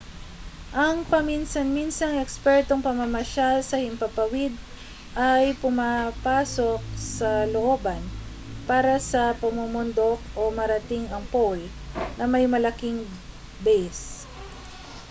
ang paminsan-minsang ekspertong pamamasyal sa himpapawaid ay pumapasok sa looban para sa pamumundok o marating ang pole na may malaking base